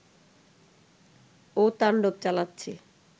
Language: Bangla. ও তাণ্ডব চালাচ্ছে